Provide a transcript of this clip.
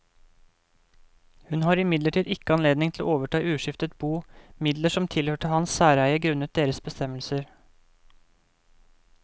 Hun har imidlertid ikke anledning til å overta i uskiftet bo midler som tilhørte hans særeie grunnet deres bestemmelser.